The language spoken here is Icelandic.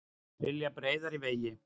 Vilja breiðari vegi